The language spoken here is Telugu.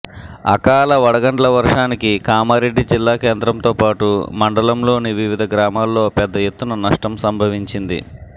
అకాల వడగండ్ల వర్షానికి కామారెడ్డి జిల్లా కేంద్రంతో పాటు మండలంలోని వివిధ గ్రామాల్లో పెద్ద ఎత్తున నష్టం సంభవించింది